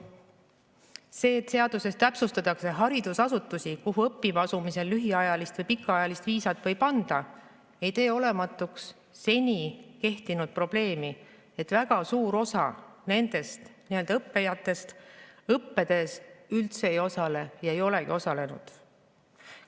See, et seaduses täpsustatakse haridusasutusi, kuhu õppima asumisel lühiajalist või pikaajalist viisat võib anda, ei tee olematuks senist probleemi, et väga suur osa nendest nii‑öelda õppijatest õppetöös üldse ei osale ega olegi osalenud.